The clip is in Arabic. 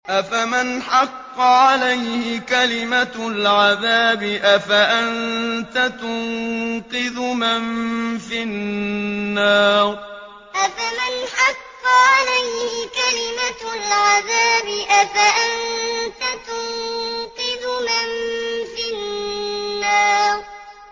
أَفَمَنْ حَقَّ عَلَيْهِ كَلِمَةُ الْعَذَابِ أَفَأَنتَ تُنقِذُ مَن فِي النَّارِ أَفَمَنْ حَقَّ عَلَيْهِ كَلِمَةُ الْعَذَابِ أَفَأَنتَ تُنقِذُ مَن فِي النَّارِ